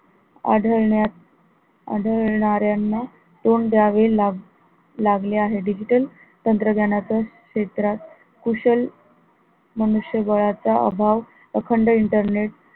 आढळण्यात, आढळणाऱ्याना तोंड द्यावे लाग लागले आहे digital तंत्रज्ञानाचा क्षेत्रात कुशल मनुष्यबळाचा अभाव अखंड internet